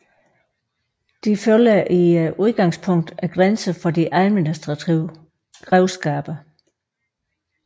De følger i udgangspunktet grænserne for de administrative grevskaber